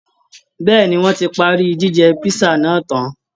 Bẹ́ẹ̀ ni, wọ́n ti parí jíjẹ písà náà tán